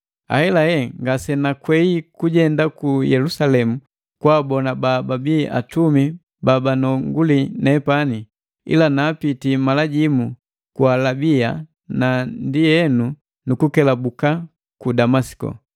Ahelahe ngasenakwei kujenda ku Yelusalemu kwaabona bababii atumi babanonguli nepani, ila naapiti mala jimu ku Alabia na ndienu nukukelabuka ku Damasiko.